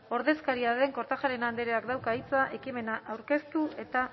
ordezkariaren kortajarena andreak dauka hitza ekimena aurkeztu eta